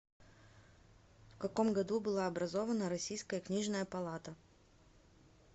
в каком году была образована российская книжная палата